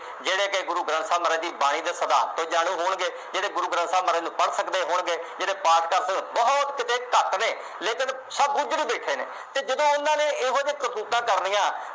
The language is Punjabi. ਜਿਹੜੇ ਕਿ ਗੁਰੂ ਗ੍ਰੰਥ ਸਾਹਿਬ ਦੀ ਬਾਣੀ ਦੇ ਸਿਧਾਂਤ ਤੋਂ ਜਾਣੂੰ ਹੋਣਗੇ। ਜਿਹੜੇ ਗੁਰੂ ਗੰਥ ਸਾਹਿਬ ਮਹਾਰਾਜ ਨੂੰ ਪੜ੍ਹ ਸਕਦੇ ਹੋਣਗੇ, ਜਿਹੜੇ ਪਾਠ ਕਰਦੇ ਹੋਏ, ਬਹੁਤ ਕਿਤੇ ਘੱਟ ਨੇ, ਲੇਕਿਨ ਸਭ ਹੁਦਰ ਦੇਖੇ ਨੇ, ਕਿ ਜਦੋਂ ਉਹਨਾ ਨੇ ਇਹੋ ਜਿਹੇ ਕਰਤੂਤਾਂ ਕਰਨੀਆਂ,